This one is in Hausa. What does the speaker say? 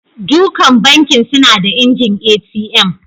Dukan Banki suna da injin ATM.